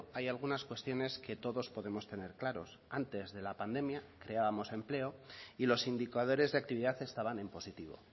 hay algunas cuestiones que todos podemos tener claros antes de la pandemia creábamos empleo y los indicadores de actividad estaban en positivo